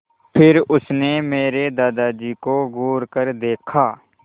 फिर उसने मेरे दादाजी को घूरकर देखा